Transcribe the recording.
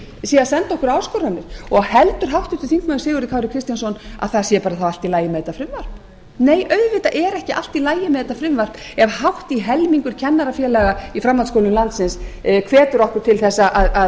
sé að senda okkur áskoranir heldur háttvirtur þingmaður sigurður kári kristjánsson að það sé bara allt í lagi með þetta frumvarp nei auðvitað er ekki allt í lagi með þetta frumvarp ef hátt í helmingur kennarafélaga í framhaldsskólum landsins hvetur okkur til að